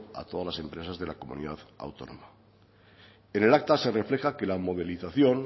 a todas las empresas de la comunidad autónoma en el acta se refleja que la modelización